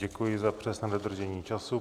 Děkuji za přesné dodržení času.